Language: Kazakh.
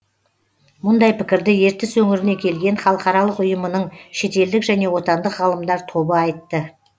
мұндай пікірді ертіс өңіріне келген халықаралық ұйымының шетелдік және отандық ғалымдар тобы айтты